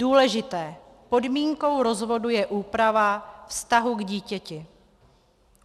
Důležité: Podmínkou rozvodu je úprava vztahu k dítěti.